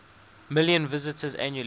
million visitors annually